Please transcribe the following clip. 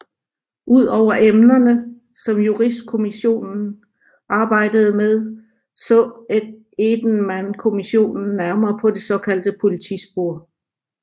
Udover emnerne som Juristkommissionen arbejdede med så Edenmankommissionen nærmere på det såkaldte politispor